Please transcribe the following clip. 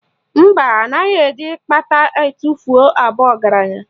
Mba, anaghị eji akpata etufuo abụ ọgaranya